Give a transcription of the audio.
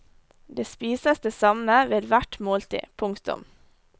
Det spises det samme ved hvert måltid. punktum